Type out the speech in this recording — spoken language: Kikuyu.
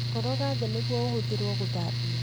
Koroga thĩ nĩguo ũhũthĩrwo gũthambia